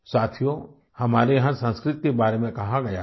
साथियो हमारे यहाँ संस्कृत के बारे में कहा गया है